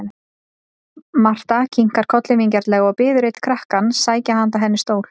Marta kinkar kolli vingjarnlega og biður einn krakkann sækja handa henni stól.